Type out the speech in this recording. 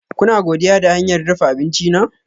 Kuna godiya da hanyar dafa abinci na?